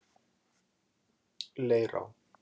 Leirá